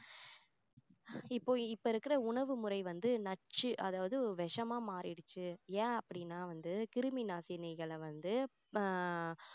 இப்போ இப்போ இருக்கிற உணவு முறை வந்து நச்சு அதாவது விஷமா மாறிடுச்சு ஏன் அப்படின்னா வந்து கிருமி நாசினிகளை வந்து ஆஹ்